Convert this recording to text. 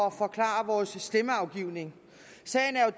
at forklare vores stemmeafgivning sagen er